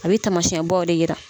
A be taamasiɲɛbaw de yira.